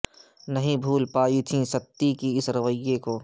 نہیں بھول پائیں تھی ستی کے اس رویہ کو